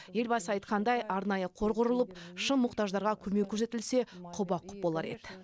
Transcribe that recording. елбасы айтқандай арнайы қор құрылып шын мұқтаждарға көмек көрсетілсе құба құп болар еді